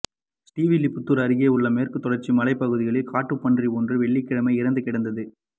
ஸ்ரீவில்லிபுத்தூா் அருகே உள்ள மேற்குத் தொடா்ச்சி மலைப் பகுதியில் காட்டுப்பன்றி ஒன்று வெள்ளிக்கிழமை இறந்து கிடந்தது